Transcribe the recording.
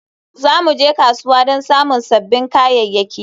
Za mu je kasuwa don samun sabbin kayayyaki